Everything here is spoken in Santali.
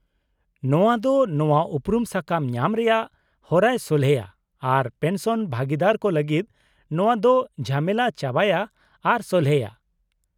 -ᱱᱚᱶᱟ ᱫᱚ ᱱᱚᱶᱟ ᱩᱯᱨᱩᱢ ᱥᱟᱠᱟᱢ ᱧᱟᱢ ᱨᱮᱭᱟᱜ ᱦᱚᱨᱟᱭ ᱥᱚᱞᱦᱮᱭᱟ ᱟᱨ ᱯᱮᱱᱥᱚᱱ ᱵᱷᱟᱹᱜᱤᱫᱟᱹᱨ ᱠᱚ ᱞᱟᱹᱜᱤᱫ ᱱᱚᱶᱟ ᱫᱚ ᱡᱷᱟᱢᱮᱞᱟ ᱪᱟᱵᱟᱭᱟ ᱟᱨᱮ ᱥᱚᱞᱦᱮᱭᱟ ᱾